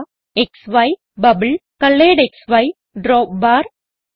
അവ ക്സി ബബിൾ കൊളറെഡ്ക്സി ഡ്രോപ്പ്ബാർ